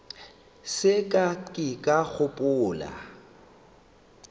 se ka ke ka gopola